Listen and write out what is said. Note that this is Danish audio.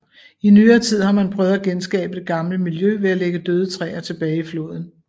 I nyere tid har man prøvet at genskabe det gamle miljø ved at lægge døde træer tilbage i floden